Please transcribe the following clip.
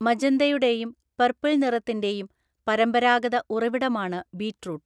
മജന്തയുടെയും purple നിറത്തിന്റെയും പരമ്പരാഗത ഉറവിടമാണ് ബീറ്റ്റൂട്ട്.